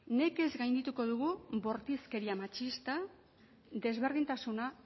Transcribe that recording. nekez gaindituko dugu bortizkeria matxista desberdintasuna